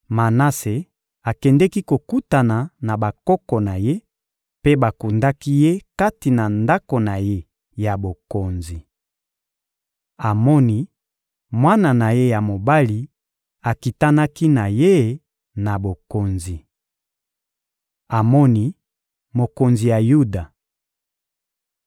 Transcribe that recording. Manase akendeki kokutana na bakoko na ye, mpe bakundaki ye kati na ndako na ye ya bokonzi. Amoni, mwana na ye ya mobali, akitanaki na ye na bokonzi. Amoni, mokonzi ya Yuda (2Ba 21.19-24)